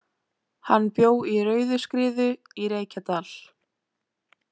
Hann bjó í Rauðuskriðu í Reykjadal.